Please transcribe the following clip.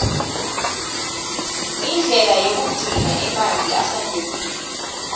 indlela yekugcina emanti ahlantekile